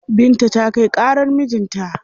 Binta ta kai ƙarar mijin ta.